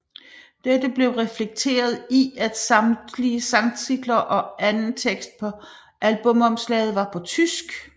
Dette blev reflekteret i at samtlige sangtitler og anden tekst på albumomslaget var på tysk